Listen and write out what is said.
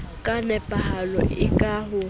ka nepahalo le ka ho